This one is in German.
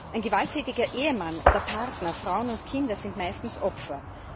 Ein gewalttätiger Ehemann oder Partner, Frauen und Kinder sind meistens Opfer.